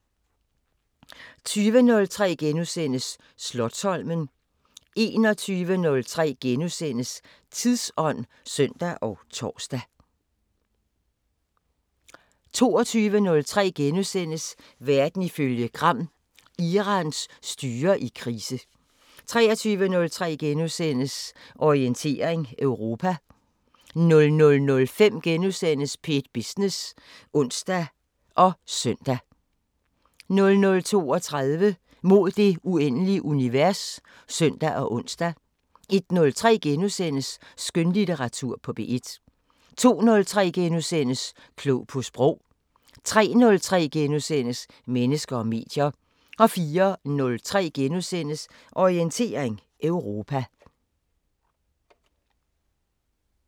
20:03: Slotsholmen * 21:03: Tidsånd *(søn og tor) 22:03: Verden ifølge Gram: Irans styre i krise * 23:03: Orientering Europa * 00:05: P1 Business *(søn og ons) 00:32: Mod det uendelige univers (søn og ons) 01:03: Skønlitteratur på P1 * 02:03: Klog på sprog * 03:03: Mennesker og medier * 04:03: Orientering Europa *